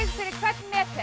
fyrir hvern meter